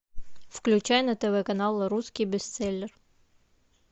включай на тв канал русский бестселлер